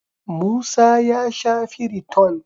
Musa ya sha Firiton.